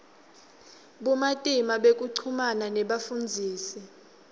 bumatima bekuchumana nebafundzisi